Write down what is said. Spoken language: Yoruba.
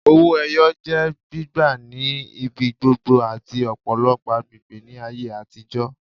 Owó ẹyọ jẹ́ gbígbà ni ibigbogbo ati ọpọlọpọ agbègbè ni ayé atijọ